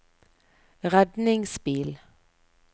redningsbil